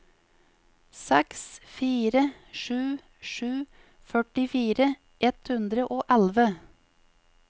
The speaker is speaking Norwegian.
seks fire sju sju førtifire ett hundre og elleve